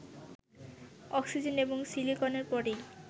oxygen এবং সিলিকনের পরেই